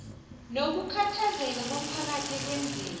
nokukhathazeka komphakathi ekwenzeni